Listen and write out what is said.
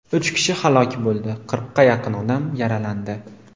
Uch kishi halok bo‘ldi, qirqqa yaqin odam yaralandi.